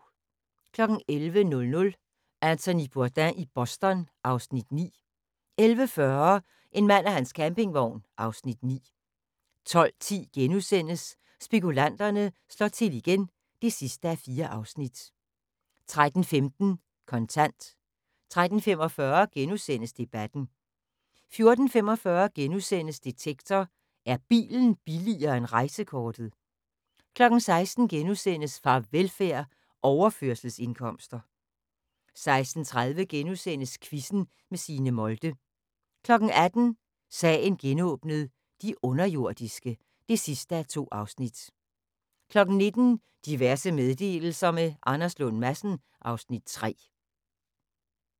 11:00: Anthony Bourdain i Boston (Afs. 9) 11:40: En mand og hans campingvogn (Afs. 9) 12:10: Spekulanterne slår til igen (4:4)* 13:15: Kontant 13:45: Debatten * 14:45: Detektor: Er bilen billigere end rejsekortet? * 16:00: Farvelfærd: Overførselsindkomster * 16:30: Quizzen med Signe Molde * 18:00: Sagen genåbnet: De underjordiske (2:2) 19:00: Diverse meddelelser – med Anders Lund Madsen (Afs. 3)